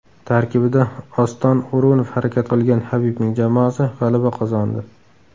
Tarkibida Oston O‘runov harakat qilgan Habibning jamoasi g‘alaba qozondi.